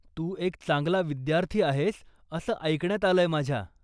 तू एक चांगला विद्यार्थी आहेस असं ऐकण्यात आलंय माझ्या.